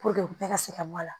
bɛɛ ka se ka bɔ a la